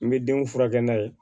N bɛ denw furakɛ n'a ye